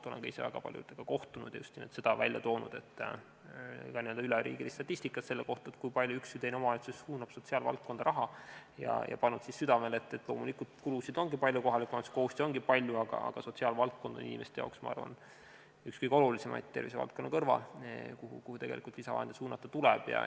Olen ka ise väga paljudega kohtunud ja just sellest rääkinud, tuues esile ka üleriigilist statistikat selle kohta, kui palju suunab üks või teine omavalitsus sotsiaalvaldkonda raha, ning pannud südamele, et loomulikult, kulusid ongi palju, kohaliku omavalitsuse kohustusi ongi palju, aga sotsiaalvaldkond on inimestele üks olulisemaid tervisevaldkonna kõrval ja sinna tuleb lisavahendeid suunata.